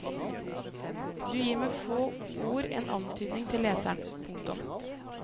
Du gir med få ord en antydning til leseren. punktum